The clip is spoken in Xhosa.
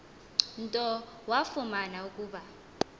nto wafumana ukuba